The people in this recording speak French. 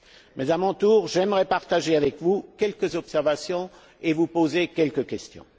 Mais, à mon tour, j'aimerais partager avec vous quelques observations et vous poser quelques questions.